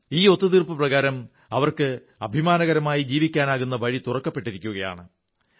ഈ ഒത്തുതീർപ്പു പ്രകാരം അവർക്ക് അഭിമാനകരമായി ജീവിക്കാനാകുന്ന വഴി തുറക്കപ്പെട്ടിരിക്കയാണ്